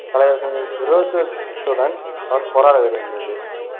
தலைவர்களின் விரோதத்துடன் அவர் போராட வேண்டியிருந்தது.